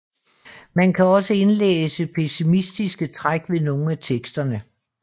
Man kan også indlæse pessimistiske træk ved nogle af teksterne